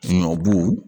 Ɲɔbu